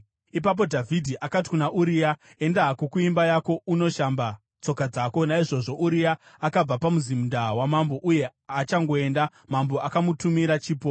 Ipapo Dhavhidhi akati kuna Uria, “Enda hako kuimba yako unoshamba tsoka dzako.” Naizvozvo Uria akabva pamuzinda wamambo, uye achangoenda, mambo akamutumira chipo.